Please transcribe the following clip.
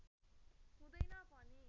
हुँदैन पनि